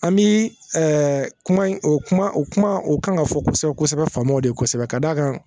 An bi kuma in o kuma o kuma o kan ka fɔ kosɛbɛ kosɛbɛ faamɔ de ye kosɛbɛ ka d'a kan